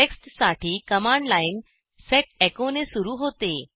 टेक्स्टसाठी command line set echo ने सुरू होते